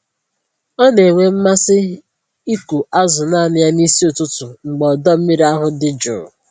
Ọ na-enwe mmasị ịkụ azụ naanị ya n'isi ụtụtụ mgbe ọdọ mmiri ahụ dị jụụ